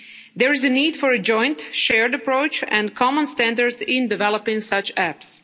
There is a need for a joint shared approach and common standards in developing such apps.